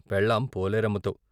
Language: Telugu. పెళ్ళాం పోలేరమ్మతో.